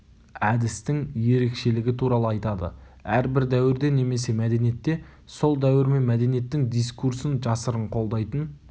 әдістің ерекшелігі туралы айтады әрбір дәуірде немесе мәдениетте сол дәуір мен мәдениеттің дискурсын жасырын қолдайтын